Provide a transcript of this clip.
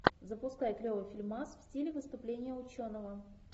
запускай клевый фильмас в стиле выступления ученого